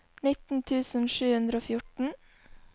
nitten tusen sju hundre og fjorten